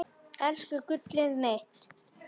Elsku gullið mitt.